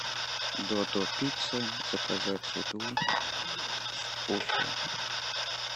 додо пицца заказать еду в уфе